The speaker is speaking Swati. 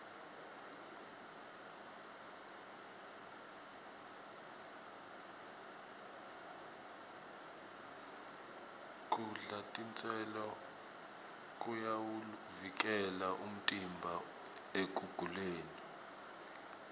kudla titselo kuyawuvikela umtimba ekuguleni